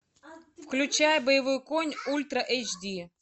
включай боевой конь ультра эйч ди